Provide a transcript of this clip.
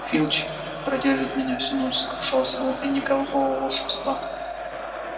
филч продержит меня всю ночь сокрушался он и никакого волшебства